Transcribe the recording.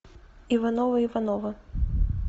ивановы ивановы